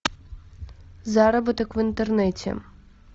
заработок в интернете